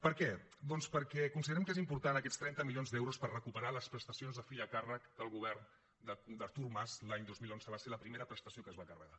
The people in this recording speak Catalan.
per què doncs perquè considerem que són importants aquests trenta milions d’euros per recuperar les prestacions de fill a càrrec que el govern d’artur mas l’any dos mil onze va ser la primera prestació que es va carregar